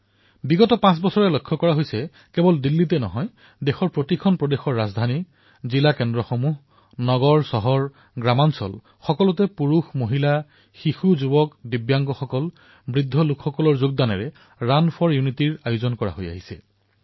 যোৱা পাঁচ বছৰত দেখা গৈছে কেৱল দিল্লীতেই নহয় সমগ্ৰ ভাৰতৰেই শতাধিক চহৰত কেন্দ্ৰশাসিত প্ৰদেশত ৰাজধানীত জিলাত সৰু সৰু টায়াৰ ২ টায়াৰ৩ চহৰতো বৃহৎ মাত্ৰাত পুৰুষ মহিলা চহৰৰ লোক গাঁৱৰ লোক আবালবৃদ্ধবনিতা দিব্যাংগ সকলোৱেই এই কাৰ্যসূচীৰ অংশীদাৰ হৈছে